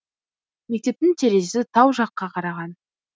мектептің терезесі тау жаққа қараған